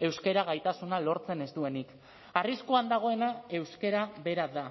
euskara gaitasuna lortzen ez duenik arriskuan dagoena euskara bera da